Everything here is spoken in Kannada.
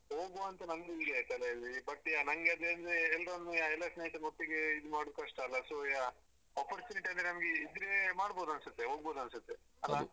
ಹೋಗುವ ಅಂತ ನಂಗು ಇದೆ ತಲೇಲಿ but ನಂಗೆ ಅದೆ ಅಂದ್ರೆ ಎಲ್ರೊಮ್ಮೆ ಎಲ್ಲ ಸ್ನೇಹಿತರು ಒಟ್ಟಿಗೆ ಇದು ಮಾಡುದು ಕಷ್ಟ ಅಲ so ಯಾ opportunity ಅಂತ ಇದ್ರೆ ನಮ್ಗೆ ಮಾಡ್ಬೋದನ್ಸುತ್ತೆ ಹೋಗ್ಬೋದನ್ಸುತ್ತೆ ಅಲ್ಲಾ.